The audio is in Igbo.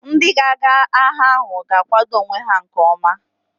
Ndị ga-aga agha ahụ ga-akwado onwe ha nke ọma